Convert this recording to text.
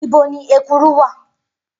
Ibo ni ekuru wà?